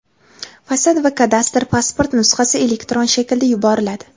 fasad va kadastr pasporti nusxasi elektron shaklda yuboriladi.